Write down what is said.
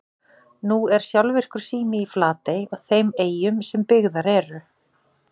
Nú er sjálfvirkur sími í Flatey og þeim eyjum sem byggðar eru.